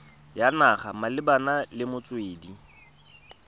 ya naga malebana le metswedi